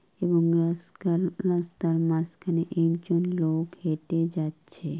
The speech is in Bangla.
এবং রাস্কাল রাস্তার মাঝখানে একজন লোক হেঁটে যাচ্ছে ।